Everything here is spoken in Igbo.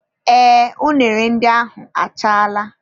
Ee unere ndị ahụ achaala.